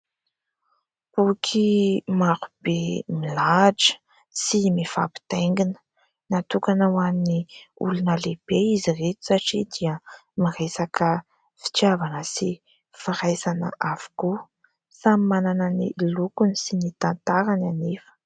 Boky maro be milatra sy mifampitaingina. Natokana ho an'ny olona lehibe izy ireto satria dia miresaka fitiavana sy firaisana avokoa. Samy manana ny lokony sy ny tantarany anefa.